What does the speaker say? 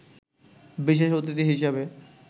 বিশেষ অতিথি হিসেবে